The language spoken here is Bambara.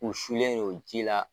U sulen ye o ji la.